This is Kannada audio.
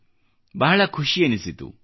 ನನಗೆ ಬಹಳ ಖುಷಿ ಎನಿಸಿತು